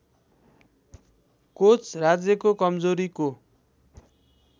coach राज्यको कमजोरीको